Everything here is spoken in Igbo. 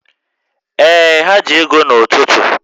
Ee, ha ji ego n'ụtụtụ